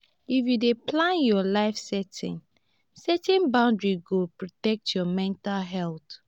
if you dey plan your life setting setting boundaries go protect your mental health